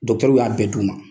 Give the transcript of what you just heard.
y'a bɛn d'u ma.